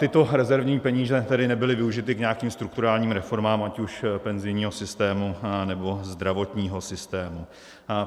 Tyto rezervní peníze tedy nebyly využity k nějakým strukturálním reformám, ať už penzijního systému, nebo zdravotního systému.